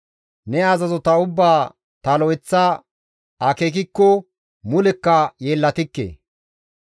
Ne azazota ubbaa ta lo7eththa akeekikko mulekka yeellatikke.